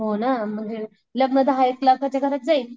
हो ना म्हणजे लग्न दहा एक लाखात जाईल.